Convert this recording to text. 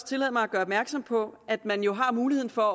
tillade mig at gøre opmærksom på at man jo har muligheden for